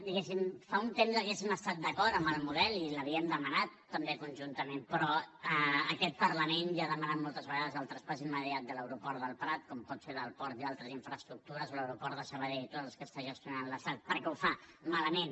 diguéssim fa un temps hauríem estat d’acord amb el model i l’havíem demanat també conjuntament però aquest parlament ja ha demanat moltes vegades el traspàs immediat de l’aeroport del prat com pot ser el del port i altres infraestructures o l’aeroport de sabadell tots els que està gestionant l’estat perquè ho fa malament